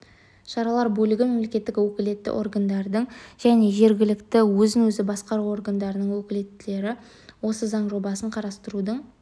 шаралар бөлігі мемлекеттік өкілетті органдардың және жергілікті өзін-өзі басқару органдардың өкілеттіктері осы заң жобасын қарастырудың